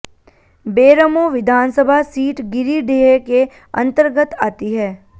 बेरमो विधानसभा सीट गिरिडीह के अंतर्गत आती है